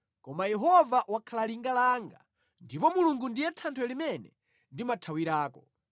Koma Yehova wakhala linga langa, ndipo Mulungu ndiye thanthwe limene ndimathawirako.